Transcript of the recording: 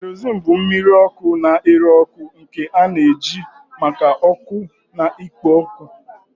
Kerosene bụ mmiri ọkụ na-ere ọkụ nke a na-eji maka ọkụ na ikpo ọkụ.